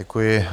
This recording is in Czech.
Děkuji.